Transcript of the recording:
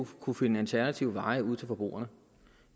kunne finde alternative veje ud til forbrugerne